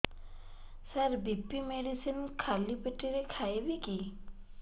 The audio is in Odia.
ସାର ବି.ପି ମେଡିସିନ ଖାଲି ପେଟରେ ଖାଇବି କି